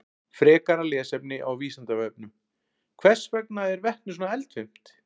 Frekara lesefni á Vísindavefnum: Hvers vegna er vetni svona eldfimt?